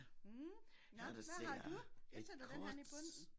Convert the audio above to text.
Mhm nåh hvad har du? Jeg sætter den her ind i bunden